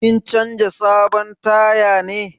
Kin canza sabon taya ne?